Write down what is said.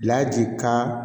Laji kan